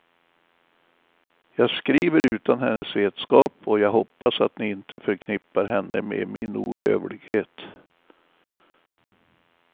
Jag skriver utan hennes vetskap, och jag hoppas att ni inte förknippar henne med min ohövlighet.